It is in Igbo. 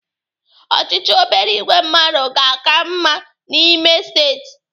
Ọchịchị obere ìgwè mmadụ ga-aka mma ime n'Imo steeti.